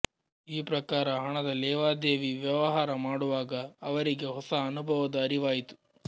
ಈ ಪ್ರಕಾರ ಹಣದ ಲೇವಾದೇವಿ ವ್ಯವಹಾರ ಮಾಡುವಾಗ ಅವರಿಗೆ ಹೊಸ ಅನುಭವದ ಅರಿವಾಯಿತು